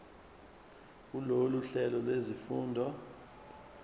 kulolu hlelo lwezifundo